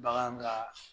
Bagan ka